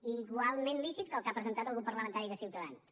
i igualment lícit que el que ha presentat el grup parlamentari de ciutadans